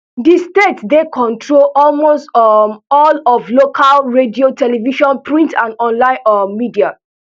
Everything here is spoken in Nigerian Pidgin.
di state dey controls almost um all of local radio television print and online um media